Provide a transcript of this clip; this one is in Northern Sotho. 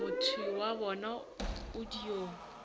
motho wa bona o dio